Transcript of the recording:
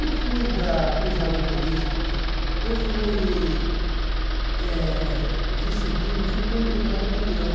Eu fui da Cruzada Eucarística, eu fui eh vicentiro, eu fui congregado mariano.